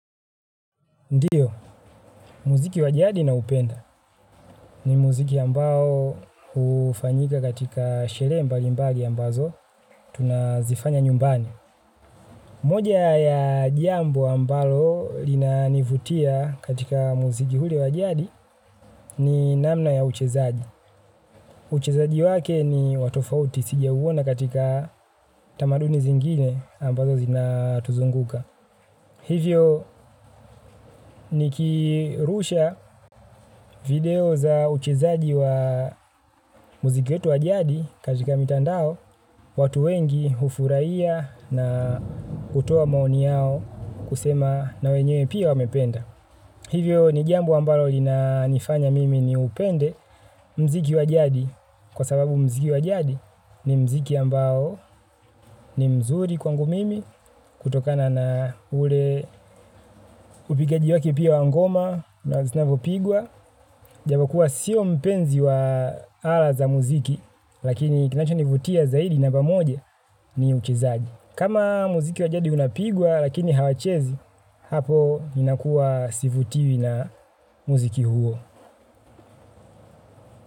Ndiyo, muziki wajadi nao upenda ni muziki ambao hufanyika katika sherehembali mbali ambazo tunazifanya nyumbani. Moja ya jambo ambalo linanivutia katika muziki ule wajadi ni namna ya uchezaji. Uchezaji wake ni watofauti sija uona katika tamaduni zingine ambazo zinatuzunguka. Hivyo ni kirusha video za uchezaji wa muziki wetu wajadi katika mitandao, watu wengi hufurahia na hutoa maoni yao kusema na wenyewe pia wamependa. Hivyo ni jambo ambalo lina nifanya mimi ni upende muziki wajadi kwa sababu muziki wajadi ni muziki ambao ni mzuri kwangu mimi kutokana na ule upigaji wake pia wangoma na zinavyo pigwa. Japo kuwa sio mpenzi wa ala za muziki lakini kinacho nivutia zaidi namba moja ni uchezaji. Kama muziki wajadi unapigwa lakini hawachezi, hapo ninakuwa sivutiwi na muziki huo.